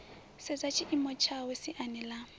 sedza tshiimo tshawe siani ḽa